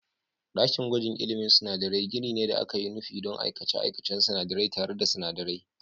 Ɗakin gwajin ilmin sinadarai gini ne da aka yi nufi don aikace-aikacen sinadarai tare da sinadarai.